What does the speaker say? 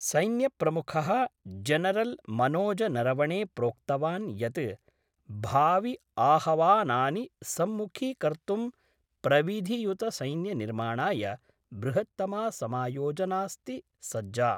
सैन्यप्रमुखः general Manoj Naravane प्रोक्तवान् यत् भावि आहवानानि सम्मुखीकर्तुं प्रविधियुतसैन्यनिर्माणाय बृहत्तमा समायोजनास्ति सज्जा।